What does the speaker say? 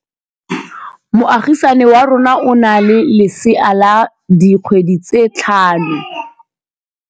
Moagisane wa rona o na le lesea la dikgwedi tse tlhano.